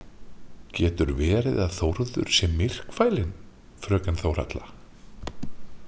Getur verið að Þórður sé myrkfælinn, fröken Þórhalla?